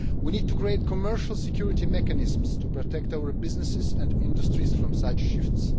We need to create commercial security mechanisms to protect our businesses and industries from such shifts.